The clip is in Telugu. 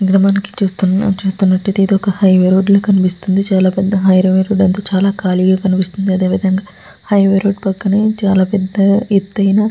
ఇక్కడ మనకు చూస్తున్న చూస్తున్నట్టయితే ఇదొక హైవే రోడ్డు కనిపిస్తుంది. చాలా పెద్ద హైవే రోడ్ . చాలా ఖాళీగా కనిపిస్తుంది అదే విధంగా హైవే రోడ్డు పక్కనే ఎత్తయిన--